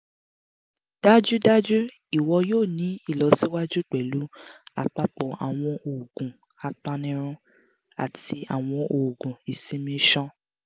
dájúdájú ìwọ yoo ni ìlọsíwájú pẹ̀lú apapọ̀ àwọn oogun apanirun ati àwọn oogun isinmi-isan